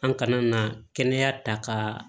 An kana na kɛnɛya ta ka